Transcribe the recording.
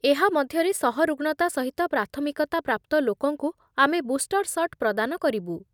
ଏହା ମଧ୍ୟରେ ସହରୁଗ୍ଣତା ସହିତ ପ୍ରାଥମିକତା ପ୍ରାପ୍ତ ଲୋକଙ୍କୁ ଆମେ ବୁଷ୍ଟର୍ ସଟ୍ ପ୍ରଦାନ କରିବୁ।